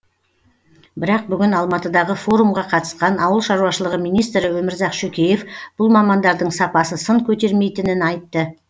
бірақ бүгін алматыдағы форумға қатысқан ауыл шаруашылығы министрі өмірзақ шөкеев бұл мамандардың сапасы сын көтермейтінін айтты